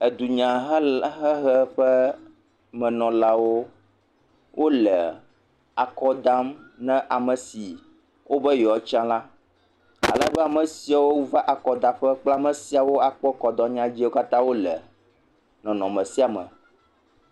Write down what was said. Edunyahelahehe ƒe menɔlawole akɔdam na ame si wo be yewoatsi la, alebe ame siwo va akɔdaƒe kple ame siwo akpɔ akɔdanyawo dzi la le nɔnɔme sia me.